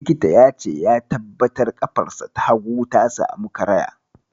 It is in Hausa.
Likitan ya ce ya tabbatar ƙafarsa ta hagu ta samu karaya.